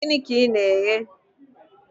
Gịnị ka ị na-eghe?